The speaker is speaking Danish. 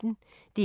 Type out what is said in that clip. DR P1